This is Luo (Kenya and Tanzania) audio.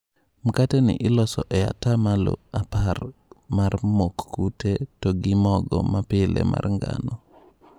Mkate ni iloso e ata malo apar mar mok kute, to gi mogo ma pile mar ngano.